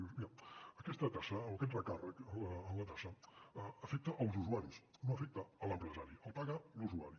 dius mira aquesta taxa o aquest recàrrec en la taxa afecta els usuaris no afecta l’empresari el paga l’usuari